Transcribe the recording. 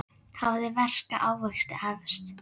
Hafið ferska ávexti efst.